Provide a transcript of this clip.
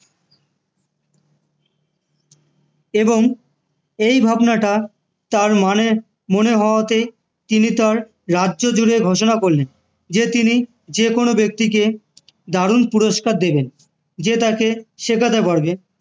এবং এই ভাবনাটা তার মানে মনে হওয়াতে তিনি তার রাজ্য জুড়ে ঘোষণা করলেন যে তিনি যেকোনো ব্যক্তিকে দারুণ পুরস্কার দেবেন যে তাকে শেখাতে পারবে